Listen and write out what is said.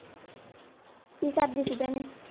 ਕੀ ਕਰਦੀ ਸੀ ਭੈਣੇ?